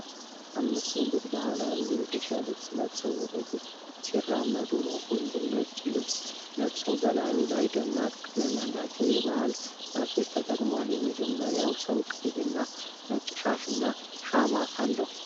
አምስት ወንዶች ባህላዊ የኢትዮጵያ ልብስ ለብሰው ወደ ፊት ሲራመዱ ነው። ሁሉም ነጭ ልብስ ለብሰው በላዩ ላይ ደማቅ ቀለም ያላቸው የባህል ሻሾች ተጠቅመዋል። የመጀመሪያው ሰው ቀይ እና ነጭ ሻሽና ሸማ አለው።